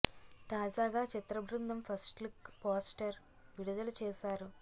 తాజాగా చిత్ర బృందం ఫస్ట్ లుక్ పోస్టర్ విడుదల చేశారు